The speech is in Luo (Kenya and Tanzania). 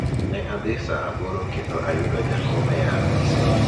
ne adhi saa aboro kendo ayudo jakom e apise